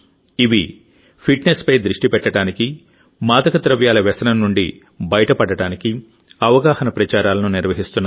ఇవి ఫిట్నెస్పై దృష్టి పెట్టడానికి మాదకద్రవ్యాల వ్యసనం నుండి బయటపడటానికి అవగాహన ప్రచారాలను నిర్వహిస్తున్నాయి